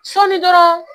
Sɔɔni dɔrɔn